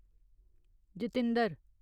Jitendra